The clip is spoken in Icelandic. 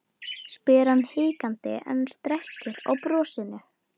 spyr hann hikandi en strekkir á brosinu.